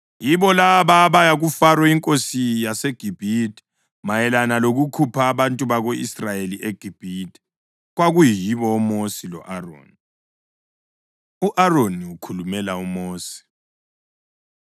Yibo laba abaya kuFaro inkosi yaseGibhithe mayelana lokukhupha abantu bako-Israyeli eGibhithe. Kwakuyibo oMosi lo-Aroni. U-Aroni Ukhulumela UMosi